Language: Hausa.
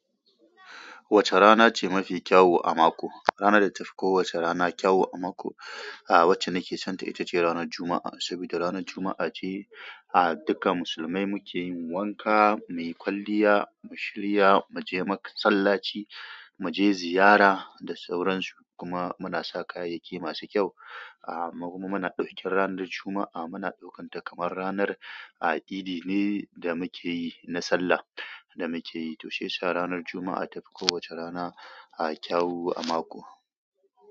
Wace rana ce mafi kyau a mako? Rana da tafi kowacce rana kyau a mako, ah wacce nake sonta ita ce ranar Juma'a. Sabida ranar Juma'a ce ah duka musulmai muke yin wanka, muyi kwalliya, mushirya, muje masallaci, muje ziyara da sauransu. Kuma muna sa kayayyaki masu kyau. Amma kuma muna ɗaukin ranar Juma'a muna ɗaukanta kamar ranar ah idi ne da muke yi na sallah da muke yi. To shiya sa ranar Juma'a tafi kowacce rana ah kyau a mako.